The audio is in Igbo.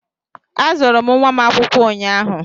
Azụrụ m nwa m akwụkwọ ụnyaahụ.